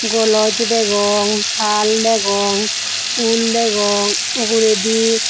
gloss degong tal degong pol degong ugureedi.